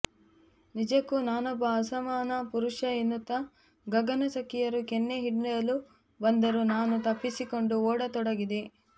ನಿಜಕ್ಕೂ ನಾನೊಬ್ಬ ಅಸಮಾನ ಪುರುಷ ಎನ್ನುತ್ತಾ ಗಗನ ಸಖಿಯರು ಕೆನ್ನೆ ಹಿಂಡಲು ಬಂದರು ನಾನು ತಪ್ಪಿಸಿಕೊಂಡು ಓಡತೊಡಗಿದೆ